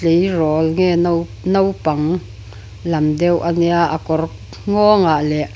tleirawl nge no naupang lam deuh a nia a kawr nghawngah leh.